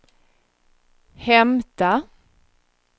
hämta